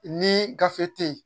Ni gafe te yen